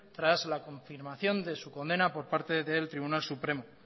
tras la confirmación de su condena por parte del tribunal supremo